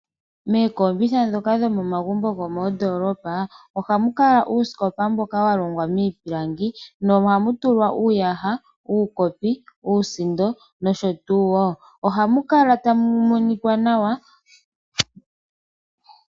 Mookombitha dhoka dhomomagumbo gomoondoolopa ohamu kala uusikopa mboka walongwa miipilangi, nohamu tulwa uuyaha, uukopi, uusindo nosho tuu woo. Ohamu kala tamu monikwa nawa.